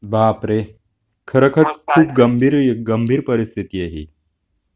बापरे खरच च खूप गंभीर गंभीर परिस्थिति आहे ही.